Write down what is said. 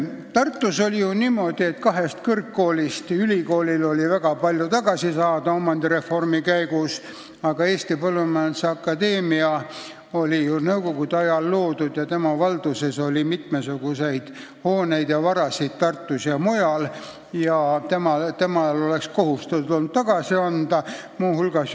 Tartus oli ju niimoodi, et kahest sealsest kõrgkoolist oli ülikoolil omandireformi käigus väga palju tagasi saada, aga Eesti Põllumajanduse Akadeemia oli nõukogude ajal loodud ja tema valduses oli mitmesuguseid hooneid ja muid varasid Tartus ja mujal ning temal oleks pidanud olema kohustus need tagasi anda.